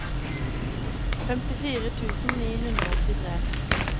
femtifire tusen ni hundre og åttitre